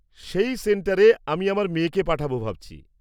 সেই সেন্টারে আমি আমার মেয়েকে পাঠাব ভাবছি।